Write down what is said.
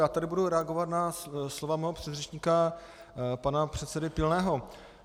Já tedy budu reagovat na slova svého předřečníka pana předsedy Pilného.